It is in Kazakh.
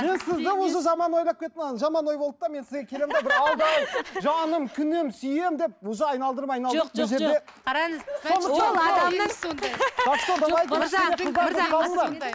мен сізді уже жаман ойлап кеттім ы жаман ой болды да мен сізге келемін де бір алдау жаным күнім сүйемін деп уже айналдырып айналдырып